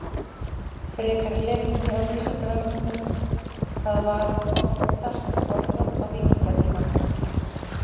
Frekara lesefni á Vísindavefnum: Hvað var oftast borðað á víkingatímanum?